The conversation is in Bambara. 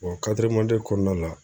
kɔnɔna la